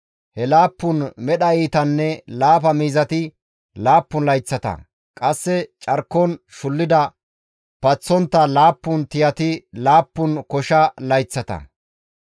He laappun medha iitanne laafa miizati laappun layththata; qasse carkon shullida paththontta laappun tiyati laappun kosha layththata.